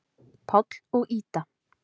Páll og Ída.